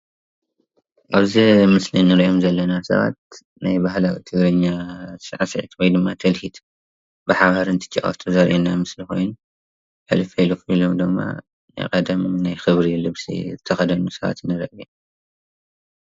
ኣብዚ ምስሊ እንሪኦም ዘለና ሰባት ናይ ባህላዊ ትግርኛ ሳዕሲዒት ወይ ድማ ትልሂት ብሓባር እንትጫወቱ ዘርኢ ኮይኑ ሕልፍሕልፍ ኢሎም ድማ ናይ ቀደም ናይ ክብሪ ልብሲ ዝተኸደኑ ሰባት ንርኢ ኣለና።